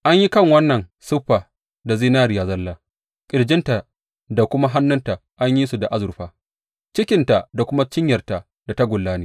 An yi kan wannan siffa da zinariya zalla, ƙirjinta da kuma hannuwanta an yi su da azurfa, cikinta da kuma cinyarta da tagulla ne.